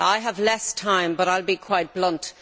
I have less time but I will be quite blunt.